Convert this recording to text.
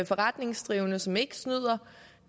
forretningsdrivende som ikke snyder